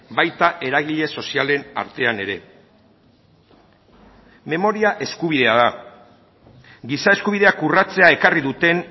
baita eragile sozialen artean ere memoria eskubidea da giza eskubideak urratzea ekarri duten